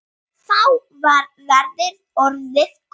Þá var veðrið orðið gott.